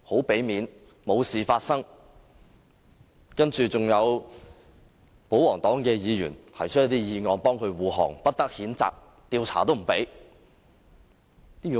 然後，你准許保皇黨議員提出這項議案，為他護航，不得譴責，連調查也不准。